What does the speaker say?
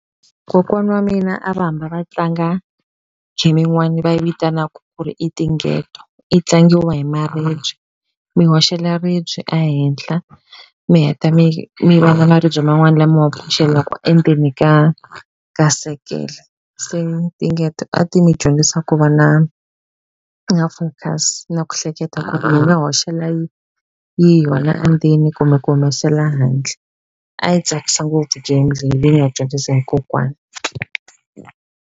Kokwana wa mina a va hamba va tlanga gym yin'wani va yi vitanaku ku ri i tinghetho yi tlangiwa hi maribye mi hoxela ribye a henhla mi heta mi mi vona maribye man'wana lama waku endzeni ka sekele se ni tinghetho a ti mi dyondzisa ku va na na focus na ku hleketa ku mi nga hoxela yi yi endzeni kumbe ku humesela handle a yi tsakisa ngopfu game leyi hi nga dyondzisa hi kokwana.